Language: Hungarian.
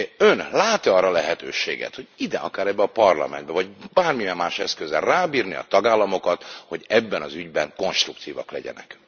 Ön lát e arra lehetőséget, hogy ide, akár ebbe a Parlamentbe, vagy bármilyen más eszközzel rábírni a tagállamokat, hogy ebben az ügyben konstruktívak legyenek?